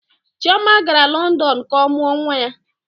Chioma gara London ka ọ mụọ nwa ya.